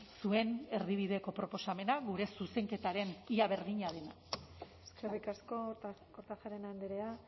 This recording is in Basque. zuen erdibideko proposamena gure zuzenketaren ia berdina dena eskerrik asko kortajarena andrea